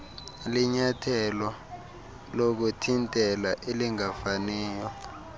linyathelo lokuthintela elingafaniyo